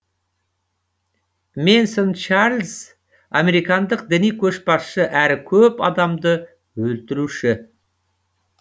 мэнсон чарльз американдық діни көшбасшы әрі көп адамды өлтіруші